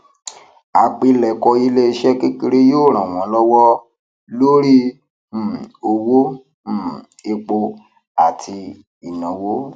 àpilèkọ iléeṣé kékeré yóò ran wọn lọwọ lórí um owó um epo àti ìnáwó